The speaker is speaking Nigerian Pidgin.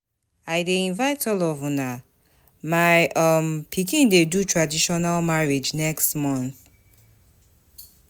I dey invite all of una, my um pikin dey do traditional marriage next month